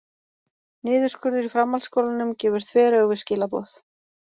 Niðurskurður í framhaldsskólanum gefur þveröfug skilaboð